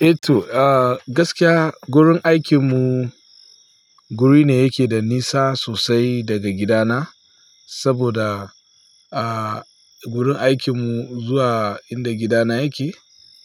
Eh to, gaskiya wurin aikin mu wuri ne yake da nisa sosai daga gidana. Saboda wurin aikinmu zuwa inda gidana yake,